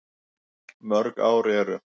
Mörg ár eru